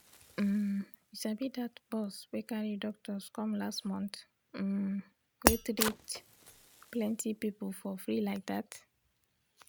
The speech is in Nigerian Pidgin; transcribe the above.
um you sabi that bus wey carry doctors come last month um wey treat plenty people for free like that.